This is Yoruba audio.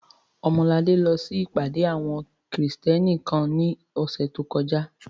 Ọmọladé lọ sí ìpàdé àwọn Krìstẹ́nì kan ní ọ̀sẹ̀ tó kọjá